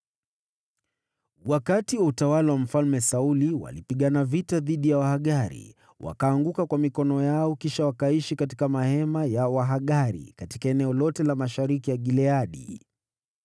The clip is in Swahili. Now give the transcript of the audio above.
Wakati wa utawala wa Mfalme Sauli, walipigana vita dhidi ya Wahagari, wakaanguka kwa mikono yao, kisha wakaishi katika mahema ya Wahagari katika eneo lote la mashariki ya Gileadi.